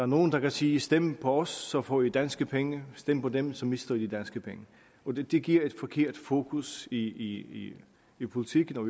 nogle der kan sige stem på os så får i danske penge stem på dem så mister i de danske penge det giver et forkert fokus i i politikken og